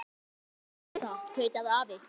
Hvað er þetta? tautaði afi.